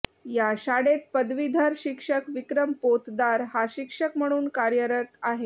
या शाळेत पदवीधर शिक्षक विक्रम पोतदार हा शिक्षक म्हणून कार्यरत आहे